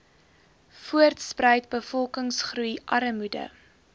voortspruit bevolkingsgroei armoede